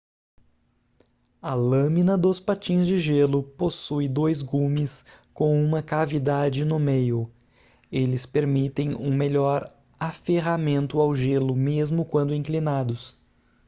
a lâmina dos patins de gelo possui dois gumes com uma cavidade no meio eles permitem um melhor aferramento ao gelo mesmo quando inclinados